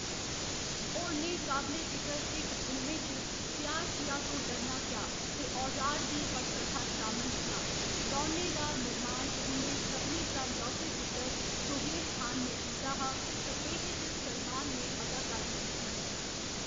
होरनें काबले जिकर हिट फिल्में च 'प्यार किया तो डरना क्या' ‌ ते 'औजार' दी पटकथा शामल हियां, दौनें दा निर्माण उं'दे सभनें शा लौह्‌‌‌के पुत्तर सोहेल खान ने कीता हा ते एह्‌‌‌दे च सलमान ने अदाकारी कीती ही।